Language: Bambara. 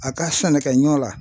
A ka sannikɛɲɔ la